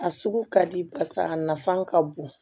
A sugu ka di basa a nafan ka bon